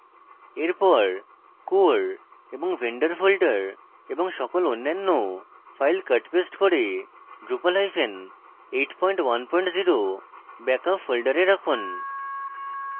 এরপর core এবং vendor folder এবং সকল অন্যান্য files cut paste core drupal810 backup folders রাখুন